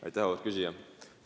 Aitäh, auväärt küsija!